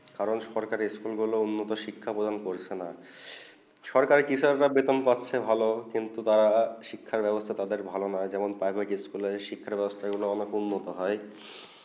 কারণ সকার স্কুল গুলু উন্নত শিক্ষা প্রদান করছে না সকার বিষম পরিক্রম করছে কিন্তু তারা শিক্ষা বেবস্তা তাদের ভালো না যেমন প্রাইভেট স্কুলে গুলু শিক্ষা বেবস্তা অনেক উন্নত হয়ে